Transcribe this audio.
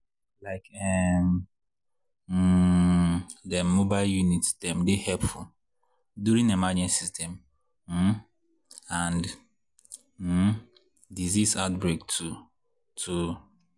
like[um][um] dem mobile units dem dey helpful during emergencies dem um and um disease outbreaks too to.